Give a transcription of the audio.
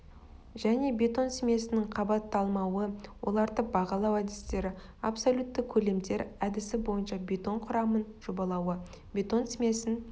және бетон смесінің қабатталмауы оларды бағалау әдістері абсолютті көлемдер әдісі бойынша бетон құрамын жобалауы бетон смесін